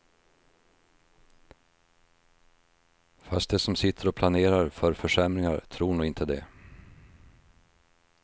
Fast de som sitter och planerar för försämringar tror nog inte det.